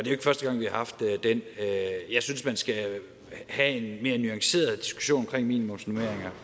jo ikke første gang vi har haft den jeg synes man skal have en mere nuanceret diskussion om minimumsnormeringer